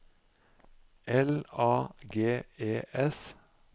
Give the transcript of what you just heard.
L A G E S